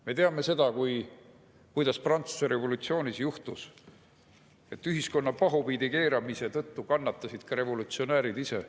Me teame seda, kuidas Prantsuse revolutsioonis juhtus, et ühiskonna pahupidi keeramise tõttu kannatasid ka revolutsionäärid ise.